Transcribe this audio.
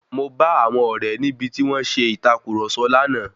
Mo bá àwọn ọ̀rẹ́ níbi tí wón ṣe ìtàkurọ̀sọ lánàá.